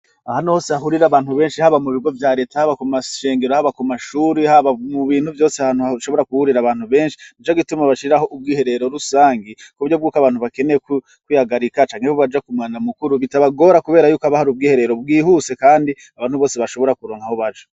Ahanu hose hahurira abantu benshi haba mu bigo vya leta haba ku mashengero haba ku mashuri haba mu bintu vyose ahanu hashobora kuhurira abantu benshi ni co gituma bashiraho ubwo iherero rusangi ku vyo bw'uko abantu bakeneye kwihagarika canke bo baja kumana mukuru bitabagora, kubera yuko abahari ubw iherero bwihuse, kandi abantu bose bashobora kuronkaho baja.